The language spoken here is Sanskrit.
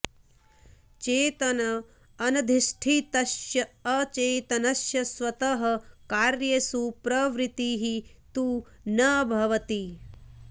चेतन अनधिष्ठितस्य अचेतनस्य स्वतः कार्येषु प्रवृत्तिः तु न भवति